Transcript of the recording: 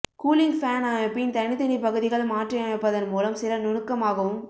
cooling fan அமைப்பின் தனித்தனி பகுதிகள் மாற்றியமைப்பதன் மூலம் சில நுணுக்கமாகவும்